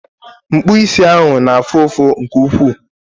Mkpụ isi ahụ na-afụ ụfụ nke ukwuu